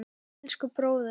Elsku bróðir!